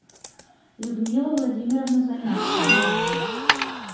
людмила владимировна замяткина